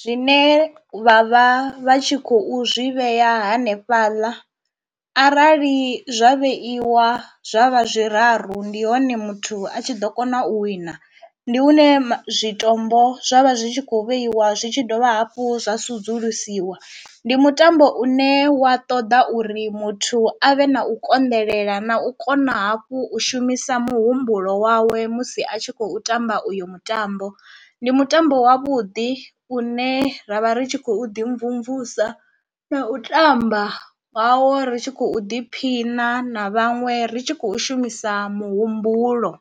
zwine vha vha vha tshi khou zwi vhea hanefhaḽa, arali zwa vheiwa zwa vha zwiraru ndi hone muthu a tshi ḓo kona u wina, ndi hune zwi tombo zwa vha zwi tshi kho vheiwa zwi tshi dovha hafhu zwa sudzulusiwa, ndi mutambo une wa ṱoḓa uri muthu avhe na u konḓelela na u kona hafhu u shumisa muhumbulo wawe musi a tshi khou tamba uyo mutambo, ndi mutambo wa vhuḓi une ra vha ri tshi khou ḓi mvumvusa na u tamba ngawo ri tshi khou ḓiphina na vhaṅwe ri tshi khou shumisa muhumbulo.